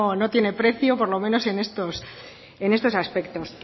no tiene precio por lo menos en estos aspectos